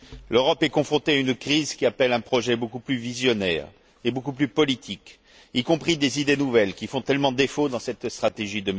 L'Europe est confrontée à une crise qui appelle un projet beaucoup plus visionnaire et beaucoup plus politique, y compris des idées nouvelles qui font tellement défaut dans cette stratégie